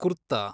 kurta